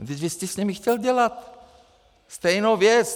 Vždyť vy jste s nimi chtěl dělat stejnou věc!